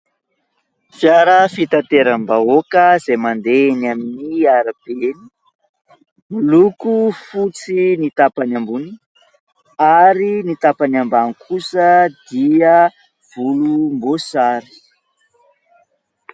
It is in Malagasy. Fiara fitateram- bahoaka izay mandeha eny amin'ny arabe, miloko fotsy ny tapany ambony ary ny tapany ambany kosa dia volomboasary.